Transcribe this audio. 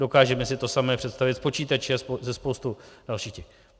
Dokážeme si to samé představit s počítači a se spoustou dalších věcí.